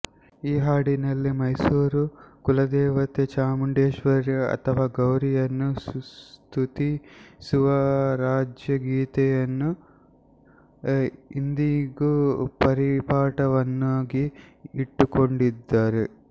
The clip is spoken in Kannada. ಈ ಹಾಡಿನಲ್ಲಿ ಮೈಸೂರು ಕುಲದೇವತೆ ಚಾಮುಂಡೇಶ್ವರಿ ಅಥವ ಗೌರಿಯನ್ನು ಸ್ತುತಿಸುವ ರಾಜ್ಯಗೀತೆಯನ್ನು ಇಂದಿಗು ಪರಿಪಾಠವನ್ನಾಗಿ ಇಟ್ಟುಕೊಂಡಿದ್ದಾರೆ